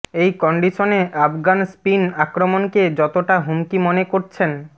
এই কন্ডিশনে Afghan spin আক্রমণকে যতটা হুমকি মনে করছেন